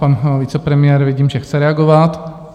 Pan vicepremiér - vidím, že chce reagovat.